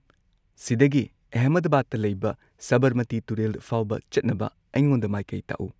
ꯁꯤꯗꯒꯤ ꯑꯦꯍꯃꯗꯕꯥꯗꯇ ꯂꯩꯕ ꯁꯕꯔꯃꯇꯤ ꯇꯨꯔꯦꯜ ꯐꯥꯎꯕ ꯆꯠꯅꯕ ꯑꯩꯉꯣꯟꯗ ꯃꯥꯏꯀꯩ ꯇꯥꯛꯎ꯫